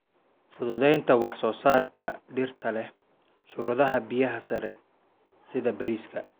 Fududeynta wax-soo-saarka dhirta leh shuruudaha biyaha sare sida bariiska.